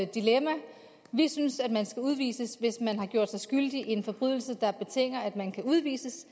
dilemma vi synes man skal udvises hvis man har gjort sig skyldig i en forbrydelse der betinger at man kan udvises